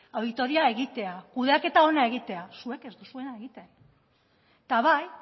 auditoria egitea kudeaketa ona egitea zuek ez duzuena egiten eta bai